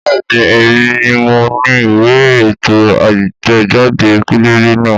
Bẹ́ẹ̀ni, èmi ni mo ni ìwé ètò àtẹ̀jáde pẹ́lẹ́bẹ́ náà